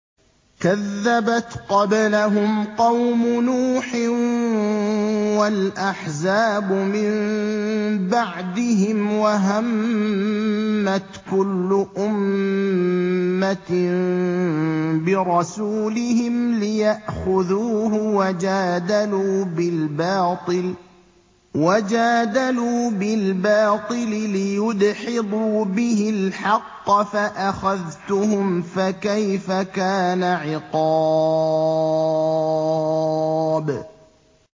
كَذَّبَتْ قَبْلَهُمْ قَوْمُ نُوحٍ وَالْأَحْزَابُ مِن بَعْدِهِمْ ۖ وَهَمَّتْ كُلُّ أُمَّةٍ بِرَسُولِهِمْ لِيَأْخُذُوهُ ۖ وَجَادَلُوا بِالْبَاطِلِ لِيُدْحِضُوا بِهِ الْحَقَّ فَأَخَذْتُهُمْ ۖ فَكَيْفَ كَانَ عِقَابِ